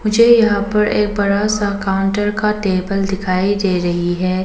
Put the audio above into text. मुझे यहां पर एक बड़ा सा काउंटर का टेबल दिखाई दे रही है।